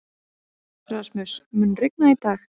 Rasmus, mun rigna í dag?